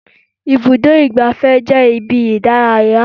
Ibùdó igbàfẹ́ jẹ́ ibi ìdárayá.